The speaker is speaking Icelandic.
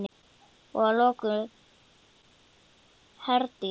Og að lokum, Herdís.